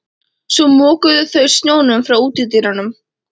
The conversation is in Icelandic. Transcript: Svo mokuðu þau snjóinn frá útidyrunum.